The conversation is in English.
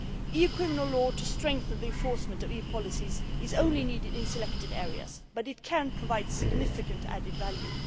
EU criminal law to strengthen the enforcement of EU policies is only needed in selected areas, but it can provide significant added value.